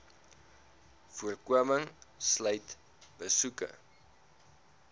voorkoming sluit besoeke